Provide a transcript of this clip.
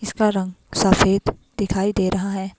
इसका रंग सफ़ेद दिखाई दे रहा है।